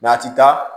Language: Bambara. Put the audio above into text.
a ti taa